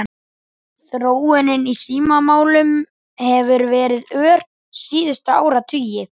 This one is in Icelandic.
Þróunin í símamálum hefur verið ör síðustu áratugi.